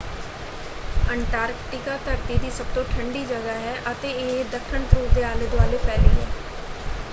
Antarctica ਧਰਤੀ ਦੀ ਸਭ ਤੋਂ ਠੰਡੀ ਜਗ੍ਹਾ ਹੈ ਅਤੇ ਇਹ ਦੱਖਣ ਧਰੁਵ ਦੇ ਆਲੇ-ਦੁਆਲੇ ਫੈਲੀ ਹੈ।